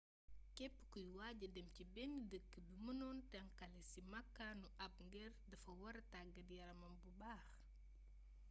képp kuy waaja dem ci benn dëkk bi mënon tënkale si makaanu ab geer dafa wara taggaat yaramam bu baax